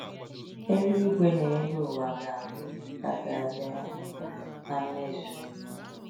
Eluigwe n'elu ụwa ga abụ ihe ka ga abịa na mmezu